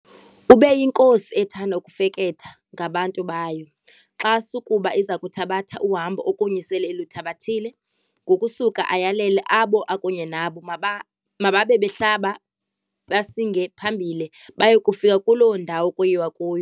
ubeyinkosi ethanda ukufeketha ngabantu bayo, xa sukuba izakuthabatha uhambo okunye se iluthabathile, ngokusuka ayalele abo akunye nabo maba mababe behlaba, basinge phambili, baye kufika kuloo ndawo kuyiwa kuyo.